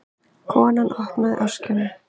Konan opnaði öskjuna.